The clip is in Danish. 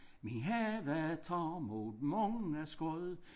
Min have tager mod mange skud